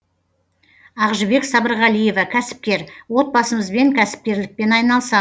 ақжібек сабырғалиева кәсіпкер отбасымызбен кәсіпкерлікпен айналыса